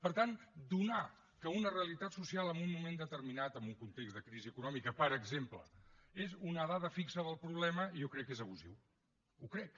per tant donar que una realitat social en un moment determinat en un context de crisi econòmica per exemple és una dada fixa del problema jo crec que és abusiu ho crec